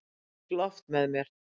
Ég fékk Loft með mér.